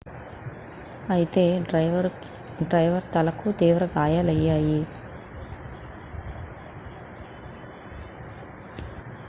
అయితే డ్రైవర్ తలకు తీవ్ర గాయాలయ్యాయి